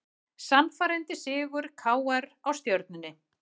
Sannfærandi sigur KR á Stjörnunni